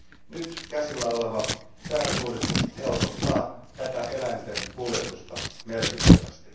Nyt käsillä oleva säädösuudistus helpottaa tätä eläinten kuljetusta merkittävästi.